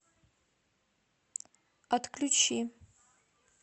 отключи